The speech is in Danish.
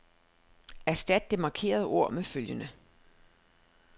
Erstat det markerede ord med følgende.